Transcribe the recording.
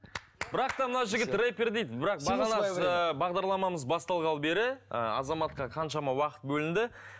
бірақ та мына жігіт рэпер дейді бірақ бағдарламамыз басталғалы бері ы азаматқа қаншама уақыт бөлінді